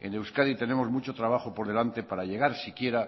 en euskadi tenemos mucho trabajo por delante para llegar siquiera